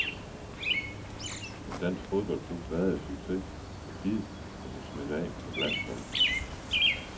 En dansk klubfodbold vader i succes, og gid det må smitte af på landsholdet.